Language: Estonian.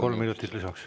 Kolm minutit lisaks.